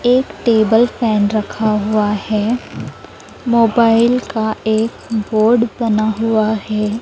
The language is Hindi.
एक टेबल फैन रखा हुआ है मोबाइल का एक बोर्ड बना हुआ है।